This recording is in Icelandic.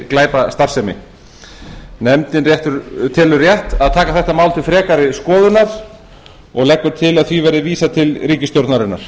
glæpastarfsemi nefndin telur að rétt sé að taka málið til frekari skoðunar og leggur til að því verði vísað til ríkisstjórnarinnar